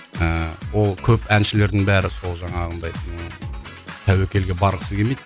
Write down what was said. ыыы ол көп әншілердің бәрі сол жаңағындай ыыы тәуекелге барғысы келмейді